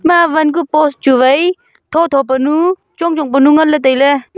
ima vangu post chu vai tho tho pu nu chongchong pu nu nganley tailey.